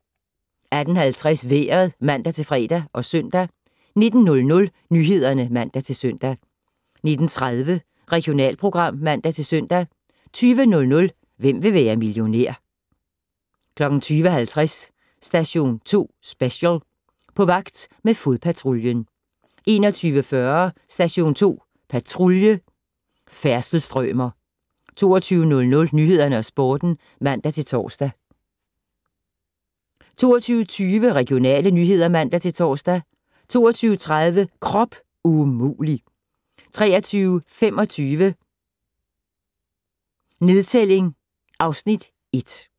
18:50: Vejret (man-fre og -søn) 19:00: Nyhederne (man-søn) 19:30: Regionalprogram (man-søn) 20:00: Hvem vil være millionær? 20:50: Station 2 Special: På vagt med fodpatruljen 21:40: Station 2 Patrulje: Færdselsstrømer 22:00: Nyhederne og Sporten (man-tor) 22:20: Regionale nyheder (man-tor) 22:30: Krop umulig! 23:25: Nedtælling (Afs. 1)